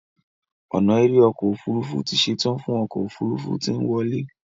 ona èrè ọkọ òfurufú tí ṣetan fún ọkọ òfurufú tí nwọle.